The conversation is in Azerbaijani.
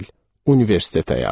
Universitet həyatı.